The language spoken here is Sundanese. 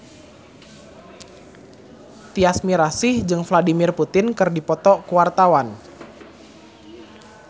Tyas Mirasih jeung Vladimir Putin keur dipoto ku wartawan